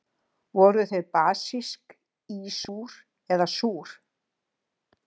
Voru þau basísk, ísúr eða súr?